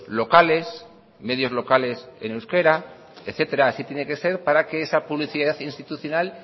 locales medios locales en euskera etcétera así tiene que ser para que esa publicidad institucional